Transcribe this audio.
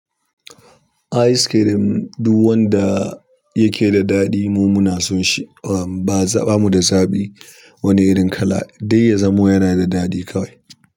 Ice cream duk wanda yake da daɗi mu muna son shi, ba zaɓa mu bamu da zaɓi. Wani ni irin kala duk ya zamo yana da daɗi.